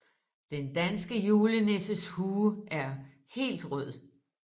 Den danske julenisses hue er helt rød